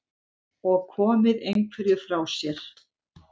Og komið einhverju frá sér?